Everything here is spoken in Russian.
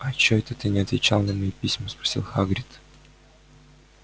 а чего это ты не отвечал на мои письма спросил хагрид